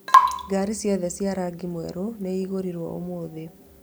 Ngaari ciothe cia rangi mwerũ nĩ igũrirũo ũmũthĩ